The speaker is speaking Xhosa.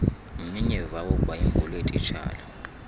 mnyinyiva wogwayimbo lweetitshala